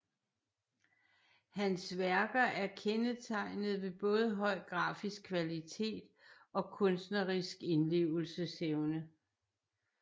Hans værker er kendetegnet ved både høj grafisk kvalitet og kunstnerisk indlevelsesevne